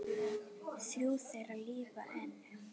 Þrjú þeirra lifa enn.